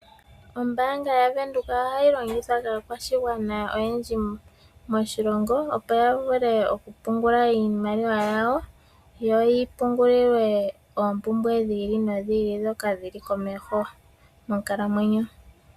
Ombaanga yaVenduka ohayi longithwa kaakwashigwana oyendji moshilongo, opo ya vule oku pungula iimaliwa yawo yo yi pungulilwe oompumbwe dhi ili nodhi ili ndhoka dhi li komeho monkalamwenyo.